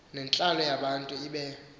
nentlalo yabantu ibe